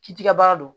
K'i ti ka baara dɔn